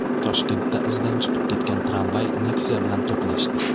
Toshkentda izdan chiqib ketgan tramvay Nexia bilan to‘qnashdi.